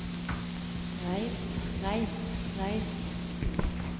reist reist reist